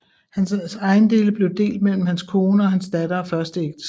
Han ejendele blev delt mellem hans kone og hans datter af første ægteskab